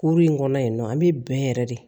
Kuru in kɔnɔ yen nɔ an bɛ bɛn yɛrɛ de